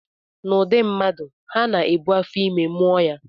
N'ụdị mmadụ, ha na-ebu afọ ime, mụọ ya